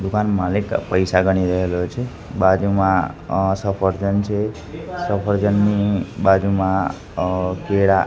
દુકાન માલિક પૈસા ગણી રહેલો છે બાજુમાં અ સફરજન છે સફરજનની બાજુમાં અ કેળા--